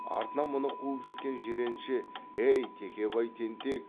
артынан мұны қуып жеткен жиренше әй текебай тентек